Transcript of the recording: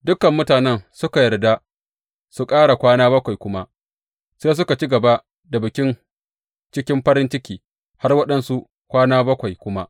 Dukan mutanen suka yarda su ƙara kwana bakwai kuma, sai suka ci gaba da bikin cikin farin ciki har waɗansu kwana bakwai kuma.